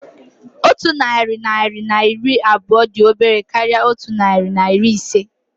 Otu narị naira na iri abụọ dị obere karịa otu narị na iri ise